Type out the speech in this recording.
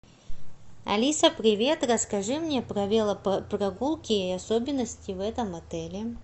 алиса привет расскажи мне про велопрогулки и особенности в этом отеле